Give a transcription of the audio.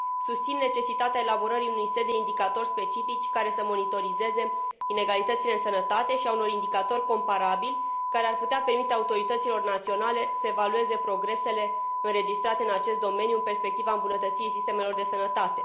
Susțin necesitatea elaborării unui set de indicatori specifici, care să monitorizeze inegalitățile în sănătate, și a unor indicatori comparabili, care ar putea permite autorităților naționale să evalueze progresele înregistrate în acest domeniu, în perspectiva îmbunătățirii sistemelor de sănătate.